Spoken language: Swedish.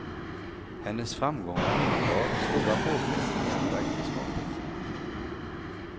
Hennes framgångar innebar stora påfrestningar på äktenskapet.